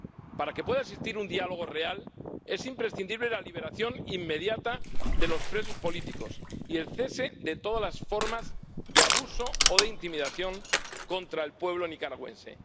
Para que pueda existir un diálogo real es imprescindible la liberación inmediata de los presos políticos y el cese de todas las formas de abuso o de intimidación contra el pueblo nicaragüense.